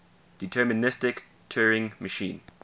deterministic turing machine